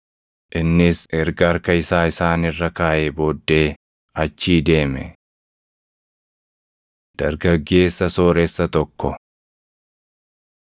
Innis erga harka isaa isaan irra kaaʼee booddee achii deeme. Dargaggeessa Sooressa Tokko 19:16‑29 kwf – Mar 10:17‑30; Luq 18:18‑30